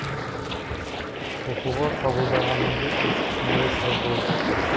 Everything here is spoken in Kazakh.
оқуға қабылдағаныңды естіп мәре сәре болып жатырмыз